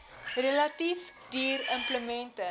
relatief duur implemente